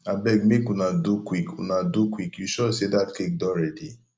abeg make una do quick una do quick you sure say dat cake don ready